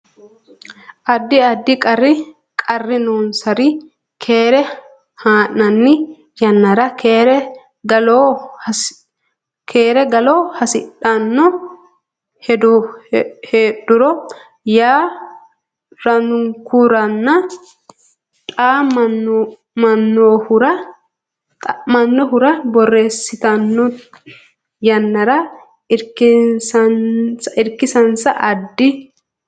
Addi addi qarri noonsari Keere haa nanni yannara keere kaa lo hasidhanno heedhuro haa rannohuranna xa mannohura borreessitanno yannara irkisinsa Addi.